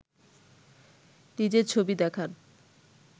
নিজের ছবি দেখান